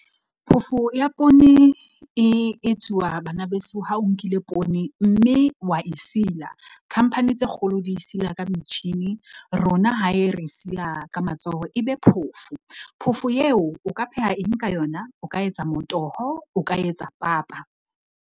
Phofo ya poone e etsuwa banabeso ha o nkile poone, mme wa e sila. Khamphani tse kgolo di e sila ka metjhini, rona hae re e sila ka matsoho ebe phofo. Phofo eo o ka pheha eng ka yona, o ka etsa motoho, o ka etsa papa.